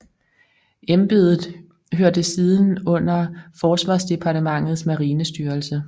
Embedet hørte siden under forsvarsdepartementets marinestyrelse